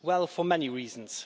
Well, for many reasons.